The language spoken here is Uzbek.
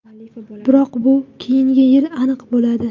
Biroq bu keyingi yil aniq bo‘ladi.